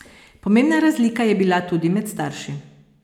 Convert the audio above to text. Pomembna razlika je bila tudi med starši.